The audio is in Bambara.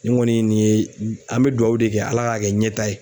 Nin ŋɔni nin ye n an bɛ duwawu de kɛ Ala k'a kɛ ɲɛta ye